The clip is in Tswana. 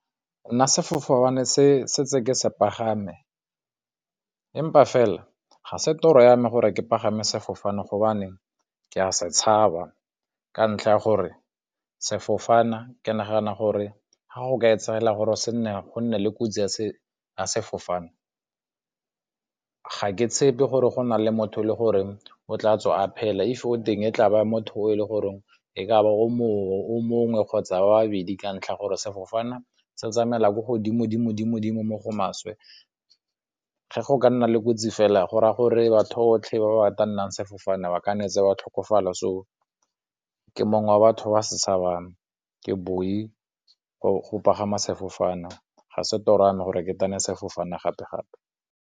Nna sefofane se ke setse ke se pagame empa fela ga se toro yame gore ke pagama sefofane gobane ke a se tshaba, ka ntlha ya gore sefofana ke nagana gore ga go ka e tsagala gore se nne gonne le kotsi ya sefofane ga ke tshepe gore go na le motho e le gore o tla tswa a phela if o teng e tlabe motho o e le goreng e kaba o mongwe o mongwe kgotsa ba bedi ka ntlha ya gore sefofana se tsamaya ko godimo dimo-dimo-dimo mo go maswe ge go ka nna le kotsi fela gore a gore batho botlhe ba ba tannang sefofane ba kannetse wa tlhokofala so ke mongwe wa batho ba se tshabang ke booi go pagama sefofane ga se toro gore ke tane sefofane gape-gape.